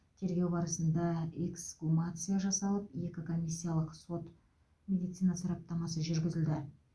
тергеу барысында эксгумация жасалып екі комиссиялық сот медицина сараптамасы жүргізілді